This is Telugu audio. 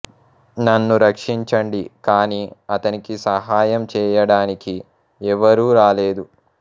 నన్ను రక్షించండి కానీ అతనికి సహాయం చేయడానికి ఎవరూ రాలేదు